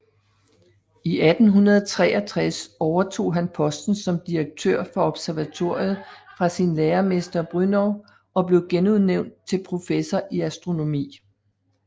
I 1863 overtog han posten som direktør for observatoriet fra sin lærermester Brünnow og blev genudnævnt til professor i astronomi